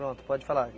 Pronto, pode falar.